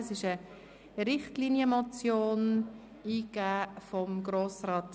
Das ist eine Richtlinienmotion, und Grossrat